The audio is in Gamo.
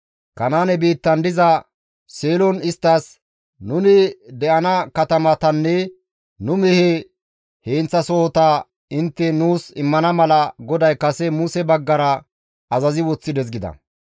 Kanaane biittan diza Seelon isttas, «Nuni de7ana katamatanne nu mehe heenththasohota intte nuus immana mala GODAY kase Muse baggara azazi woththides» gida.